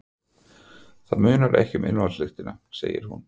Það munar ekki um ilmvatnslyktina, segir hún.